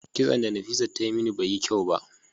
kison da Nafisat ta Yi mini Bai Yi kyau ba.